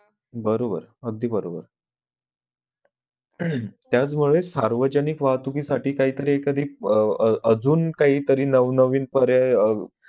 बरोरब अगदी बरोबर त्याचमुळे सार्वजनिक वाहतुकीसाठी काय तरी कधी व अह अह अजून काही तरी नवनवीन पर्याय